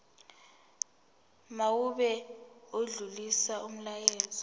mawube odlulisa umyalezo